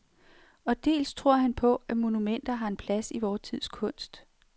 Og dels tror han på, at monumenter har en plads i vor tids kunst.